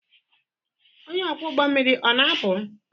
Onye ọkwọ ụgbọ mmiri ọ na-apụ?